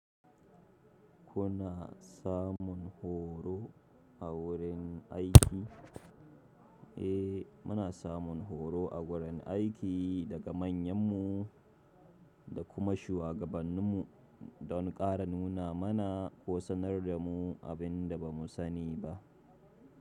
Kuna samun horo a wurin aiki? Eh, muna samun horo a wurin aiki daga manyanmu da kuma shuwagabanninmu don ƙara nuna mana ko sanar da mu abin da ba mu sani ba.